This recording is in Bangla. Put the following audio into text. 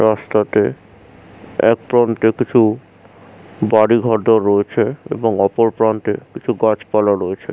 রাস্তাতে একপ্রান্তে কিছু বাড়িঘরদর রয়েছে এবং অপর প্রান্তে কিছু গাছপালা রয়েছে।